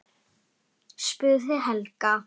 spurði Helga.